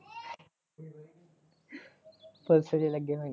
police ਚ ਲਗੇ ਹੋਏ ਨੇ।